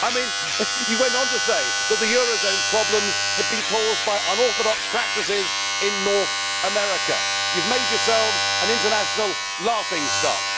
I mean, he went on to say that the eurozone's problems had been caused by unorthodox practices in North America. You have made yourselves an international laughing stock.